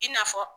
I n'a fɔ